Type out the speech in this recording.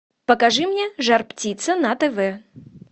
покажи мне жар птица на тв